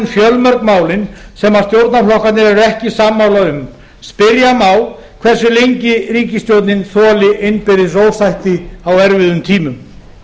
fjölmörg málin sem stjórnarflokkarnir eru ekki sammála um spyrja má hversu lengi ríkisstjórnin þoli innbyrðis ósætti á erfiðum tímum